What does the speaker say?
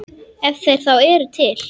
Ef þeir þá eru til.